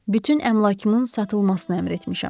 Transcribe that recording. Bütün əmlakımın satılmasını əmr etmişəm.